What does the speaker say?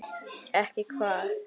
Ekki hvað?